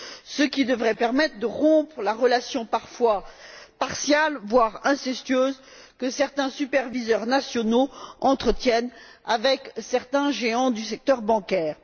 ce qui devrait permettre de rompre la relation parfois partiale, voire incestueuse, que certains superviseurs nationaux entretiennent avec certains géants du secteur bancaire.